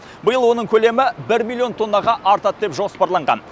биыл оның көлемі бір миллион тоннаға артады деп жоспарланған